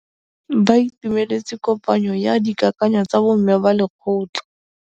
Ba itumeletse kôpanyo ya dikakanyô tsa bo mme ba lekgotla.